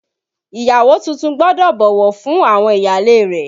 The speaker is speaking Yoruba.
Ìyàwó tuntun gbọ́dọ̀ bọ̀wọ̀ fún àwọn ìyáálé rẹ̀